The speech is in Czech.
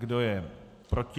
Kdo je proti?